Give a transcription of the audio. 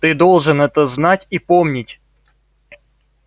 ты должен это знать и помнить